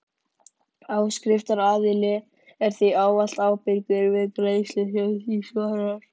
Áskriftaraðili er því ávallt ábyrgur fyrir greiðslu sem því svarar.